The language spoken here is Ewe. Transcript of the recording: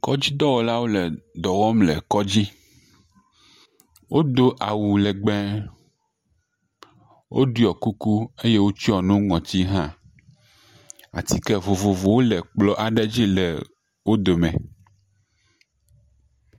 Kɔdzidɔwɔlawo le dɔ wɔm le kɔdzi, wodo awu legbee, woɖɔ kuku eye wotsyɔ nu ŋɔti hã. Atike vovovowo le kplɔ aɖe dzi le wo dome.